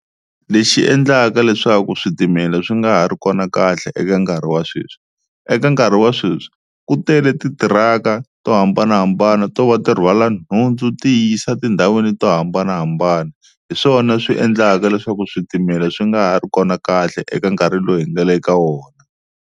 Lexi endlaka leswaku switimela swi nga ha ri kona kahle eka nkarhi wa sweswi eka nkarhi wa sweswi ku tele titiraka to hambanahambana to va ti rhwala nhundzu ti yisa tindhawini to hambanahambana, hi swona swi endlaka leswaku switimela swi nga ha ri kona kahle eka nkarhi lowu hi nga le ka wona.